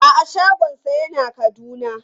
A'a shagonsa yana Kaduna.